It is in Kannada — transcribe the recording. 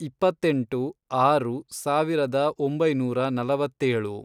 ಇಪ್ಪತ್ತೆಂಟು, ಆರು, ಸಾವಿರದ ಒಂಬೈನೂರ ನಲವತ್ತೇಳು